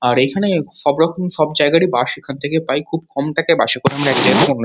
আর এইখানে সবরকম সবজায়গায় এ বাস এখন থেকে পাই খুব কম টাকায় বাস এ করে আমরা এক জায়গা থেকে অন্য জায়গায়।